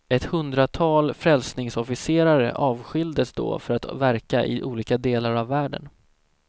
Ett hundratal frälsningsofficerare avskildes då för att verka i olika delar av världen.